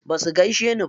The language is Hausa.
Basu gaishe ni ba.